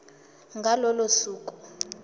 ngalo lolo suku